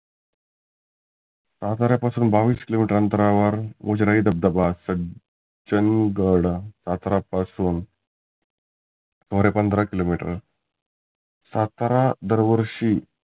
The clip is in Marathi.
साताऱ्या पासुन बाविस किलो मिटर अंतरावर उजडाई धबधबा सं सज्जन गडा साताऱ्या पासून सुमारे पंधरा किलो मिटर सातारा दर वर्षी